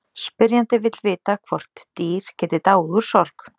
Spyrjandi vill vita hvort dýr geti dáið úr sorg.